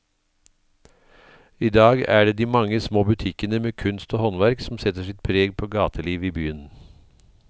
I dag er det de mange små butikkene med kunst og håndverk som setter sitt preg på gatelivet i byen.